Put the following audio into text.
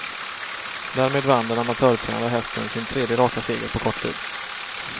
Därmed vann den amatörtränade hästen sin tredje raka seger på kort tid.